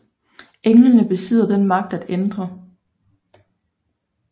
Englene besidder den magt at ændre